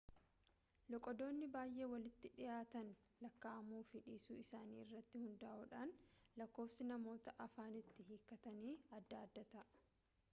loqodoonni baay'ee walitti dhiyaatan lakkaa'amuu fi dhiisuu isaanii irratti hundaa'uudhaan lakkoofsi namoota afaan itti hiikkatanii adda adda ta'a